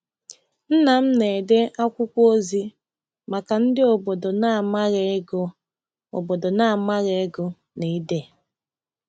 Nna m na-ede akwụkwọ ozi maka ndị obodo na-amaghị ịgụ obodo na-amaghị ịgụ na ide.